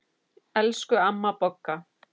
Elsku amma Bogga.